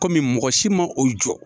Kɔmi mɔgɔ si ma o jɔ